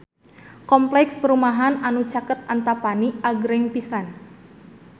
Kompleks perumahan anu caket Antapani agreng pisan